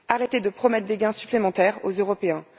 Arrêtez de promettre des gains supplémentaires aux Européens.